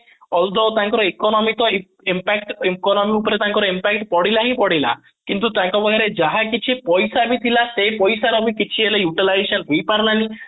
although ତାଙ୍କର economic ର impact economy ଉପରେ ତାଙ୍କର impact ପଡିଲା ହିଁ ପଡିଲା କିନ୍ତୁ ତାଙ୍କ ଭୟ ରେ ଯାହା କିଛି ପଇସା ବି ଥିଲା ସେଇ ପଇସା ର ବି କିଛି ହେଲେ ବି utilisation ହେଇପାରିଲାଣି